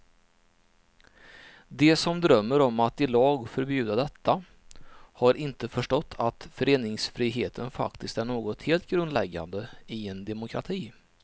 De som drömmer om att i lag förbjuda detta har inte förstått att föreningsfriheten faktiskt är något helt grundläggande i en demokrati.